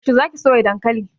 Yaushe za ki soya dankali?